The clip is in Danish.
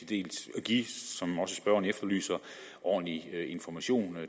dels at give som også spørgeren efterlyser ordentlig information